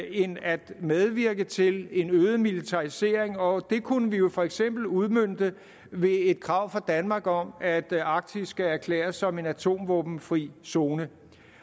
end at medvirke til en øget militarisering og det kunne vi jo for eksempel udmønte ved et krav fra danmark om at arktis skal erklæres som atomvåbenfri zone